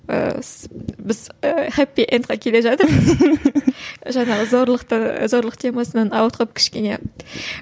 ііі біз і хэппи эндқа келе жатырмыз жаңағы зорлықты ы зорлық темасынан ауытқып кішкене